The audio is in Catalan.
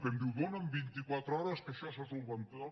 i em diu dona’m vint i quatre hores que això se solucionarà